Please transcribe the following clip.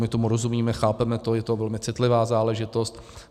My tomu rozumíme, chápeme to, je to velmi citlivá záležitost.